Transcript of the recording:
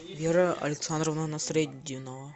вера александровна насретдинова